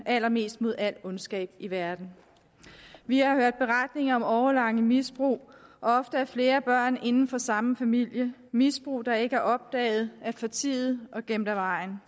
allermest mod al ondskab i verden vi har hørt beretninger om årelange misbrug og ofte af flere børn inden for samme familie misbrug der ikke er opdaget eller er fortiet og gemt af vejen